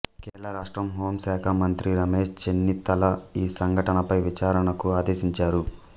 కేరళ రాష్ట్ర హోం శాఖా మంత్రి రమేష్ చెన్నితల ఈ సంఘటనపై విచారణకు ఆదేశించారు